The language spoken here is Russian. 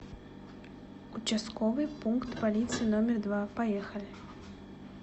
участковый пункт полиции номер два поехали